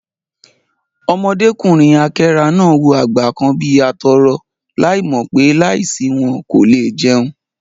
Ọmọdékùnrin àkẹ́rà náà wò àgbẹ̀ kan bí atọrọ láì mò pé, láì sí wọn, kò le è jẹun